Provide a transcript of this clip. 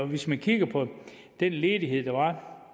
hvis man kigger på den ledighed der var